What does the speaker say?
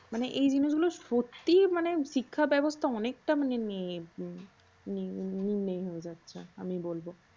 মানে এই জিনিসগুল সত্যি মানে শিক্ষাব্যবস্থা অনেকটা মানে নেই নেই হয়ে যাচ্ছে আমি বলবো।